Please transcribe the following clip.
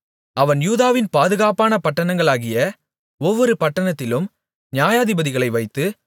அவன் யூதாவின் பாதுகாப்பான பட்டணங்களாகிய ஒவ்வொரு பட்டணத்திலும் நியாயாதிபதிகளை வைத்து